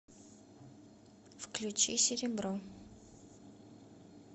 включи серебро